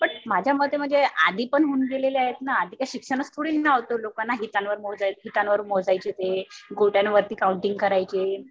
But माझ्या मते म्हणजे आधी पण होऊन गेलेले आहेत ना. आधी काय शिक्षणच थोडीना होत लोकांना. फिटांवर मोजायचे, गोट्यावरती काउंटिंग करायचे.